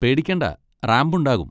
പേടിക്കേണ്ട റാമ്പ് ഉണ്ടാകും.